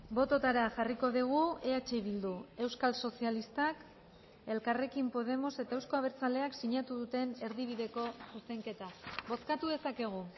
bototara jarriko dugu eh bildu euskal sozialistak elkarrekin podemos eta euzko abertzaleak sinatu duten erdibideko zuzenketa bozkatu dezakegu